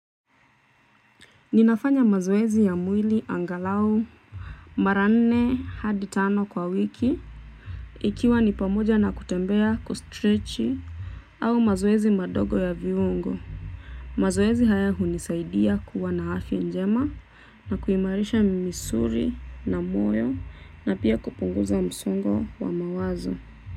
Ninafanya mazoezi ya mwili angalau. Mara nne hadi tano kwa wiki. Ikiwa ni pamoja na kutembea kustretchi. Au mazoezi madogo ya viungo mazoezi haya hunisaidia kuwa na afya njema. Na kuimarisha misuli na moyo na pia kupunguza msongo wa mawazo.